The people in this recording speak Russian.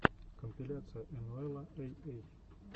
компиляция энуэла эй эй